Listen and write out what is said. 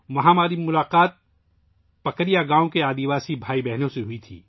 وہاں میری ملاقات پکریا گاؤں کے قبائلی بھائیوں اور بہنوں سے ہوئی